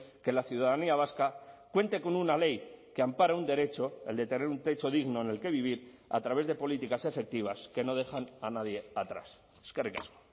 que la ciudadanía vasca cuente con una ley que ampara un derecho el de tener un techo digno en el que vivir a través de políticas efectivas que no dejan a nadie atrás eskerrik asko